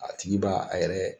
A tigi b'a a yɛrɛ